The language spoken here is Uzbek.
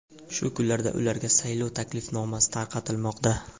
Shu kunlarda ularga saylov taklifnomasi tarqatilmoqda.